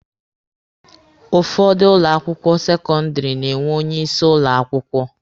Ụfọdụ ụlọ akwụkwọ sekọndịrị na-enwe onye isi ụlọ akwụkwọ.